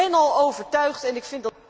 Ik ben al overtuigd en ik